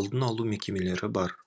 алдын алу мекемелері бар